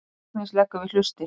Agnes leggur við hlustir.